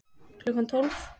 Klukkan tólf